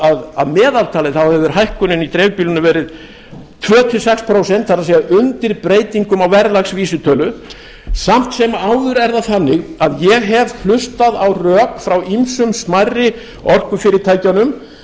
að að meðaltali hefur hækkunin í dreifbýlinu verið tvö til sex prósent það er undir breytingum á verðlagsvísitölu samt sem áður er það þannig að ég hef hlustað á rök frá ýmsum smærri orkufyrirtækjunum